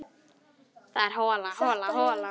Það er hola, hola, hola.